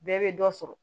Bɛɛ bɛ dɔ sɔrɔ